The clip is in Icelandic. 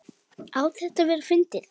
Á þetta að vera fyndið?